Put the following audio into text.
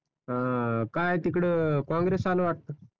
अं काय तिकडं काँग्रेस आलं वाटत